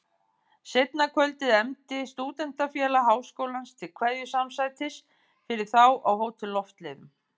Seinna kvöldið efndi Stúdentafélag Háskólans til kveðjusamsætis fyrir þá á Hótel Loftleiðum.